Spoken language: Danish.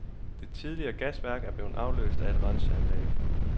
Det tidligere gasværk er blevet afløst af et renseanlæg.